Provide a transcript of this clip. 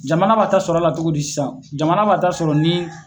Jamana b'a ta sɔrɔ a la cogo di sisan jamana b'a ta sɔrɔ ni